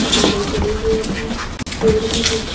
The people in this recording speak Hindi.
खंबे गड़े हुए हैं पेड़ भी दिख--